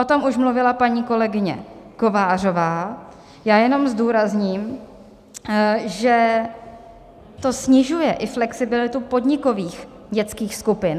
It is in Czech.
O tom už mluvila paní kolegyně Kovářová, já jenom zdůrazním, že to snižuje i flexibilitu podnikových dětských skupin.